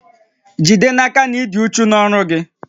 Jide n'aka na ị dị uchu n'ọrụ gị